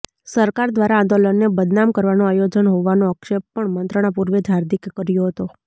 સરકાર દ્વારા આંદોલનને બદનામ કરવાનું આયોજન હોવાનો આક્ષેપ પણ મંત્રણા પૂર્વે જ હાર્દિકે કર્યો હતો